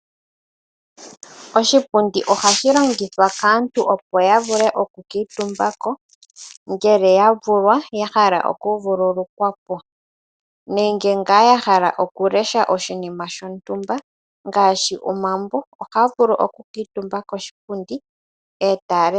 Oshipundi ohashi longithwa kaantu opo ya vule, oku kuutumba ko ngele ya vulwa ya hala oku vululukwa po nenge ya hala ngaa okulesha oshinima shontumba ngaashi omambo, ohaa vulu oku kuutumba koshipundi eta lesha.